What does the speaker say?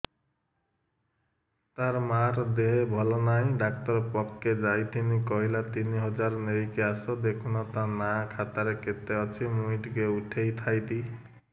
ତାର ମାର ଦେହେ ଭଲ ନାଇଁ ଡାକ୍ତର ପଖକେ ଯାଈଥିନି କହିଲା ତିନ ହଜାର ନେଇକି ଆସ ଦେଖୁନ ନା ଖାତାରେ କେତେ ଅଛି ମୁଇଁ ଟିକେ ଉଠେଇ ଥାଇତି